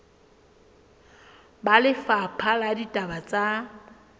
ba lefapha la ditaba tsa